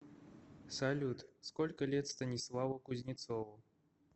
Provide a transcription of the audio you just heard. салют сколько лет станиславу кузнецову